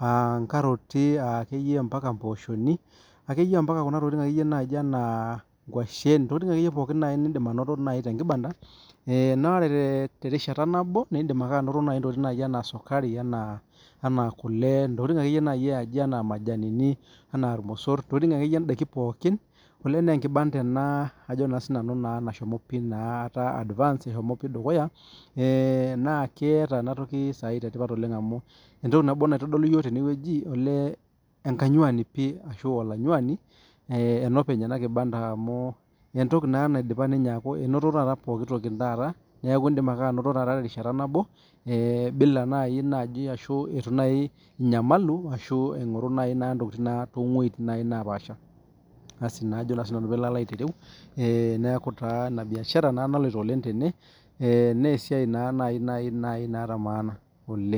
ah ikaroti, ah akeyie mbaka ipooshoni akeyie mbaka kuna tokitin naaji enaa, nkuashen intokitin akeyie pookin nidim anoto naaji te kibanda. Eh noree te rishata nabo naa idim anoto tokitin enaa, esukari ,enaa kule ntokitin akeyie naai eaji enaa majani enaa irmosor intokitin akeyie indaiki pookin. Olee naa ekibanda ena, ajo naa sinanu nashomo pi naa etaa advance eshomo pi dukuya. Eh naa keyata ena toki kitodoli iyiok tene wueji oleee ekanyuani pi ashu olanyuani eh enopeny ena kibanda amu, etoki naa naidipa ninye aaku enoto taata poki toki taata neaku, idim ake anoto terishata nabo eh bila naaji ashu itu naaji inyamalu ashu itu naaji ingoru naaji intokitin too weujitin nepaasha . Asi najo naa sinanu piilo aitereu eh neaku taa ina biashara naloito oleng tene eh nee esiai naa naaji naata maana oleng.